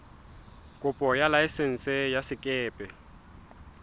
kopo ya laesense ya sekepe